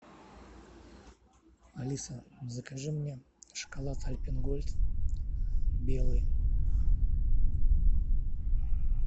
алиса закажи мне шоколад альпен гольд белый